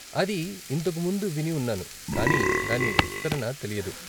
అది ఇంతకు ముందు విని ఉన్నాను, కానీ దాని విస్తరణ తెలీదు.